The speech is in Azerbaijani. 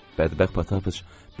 Bədbəxt Patapıç.